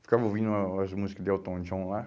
Eu ficava ouvindo uma umas músicas de Elton John lá.